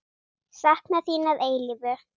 Sakna þín að eilífu.